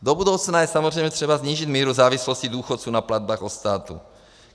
Do budoucna je samozřejmě třeba snížit míru závislosti důchodců na platbách od státu.